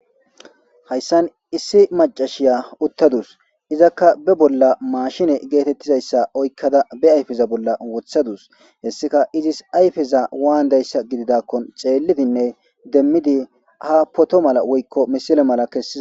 Hayssan issi maccassiya uttadasu. Izakka ba bolla mashine geetettida issa oykada ayfeza bolla wottadasu. Issika izis ayfeza wanndaysha giddidakonne tsellidinn demmide ha photo mala woyko misile mala kessiza.